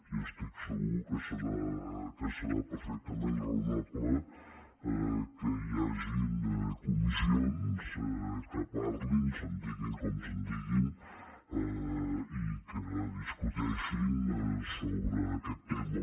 i estic segur que serà perfectament raonable que hi hagin comissions que parlin se’n diguin com se’n diguin i que discuteixin sobre aquest tema